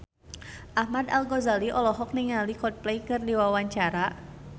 Ahmad Al-Ghazali olohok ningali Coldplay keur diwawancara